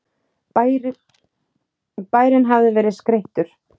Bærinn hafði verið skreyttur.